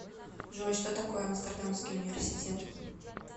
джой что такое амстердамский университет